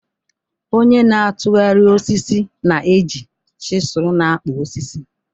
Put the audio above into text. Onye na-atụgharị osisi na-eji chisulu na-akpụ osisi.